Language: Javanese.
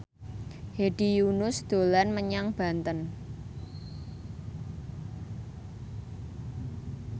Hedi Yunus dolan menyang Banten